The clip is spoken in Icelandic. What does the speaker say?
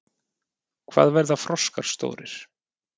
Hvað verða froskar stórir?